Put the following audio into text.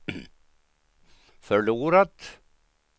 förlorat